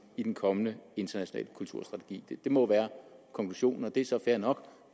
i den kommende internationale kulturstrategi det må være konklusionen og det er så fair nok